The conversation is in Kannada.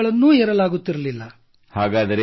ಮೆಟ್ಟಿಲುಗಳನ್ನು ಏರಲಾಗುತ್ತಿರಲಿಲ್ಲ